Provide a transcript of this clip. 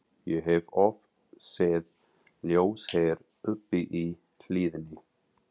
Ég hef oft séð ljós hér uppi í hlíðinni